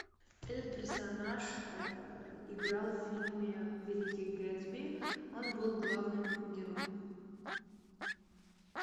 этот персонаж играл в фильме великий гэтсби он был главным героем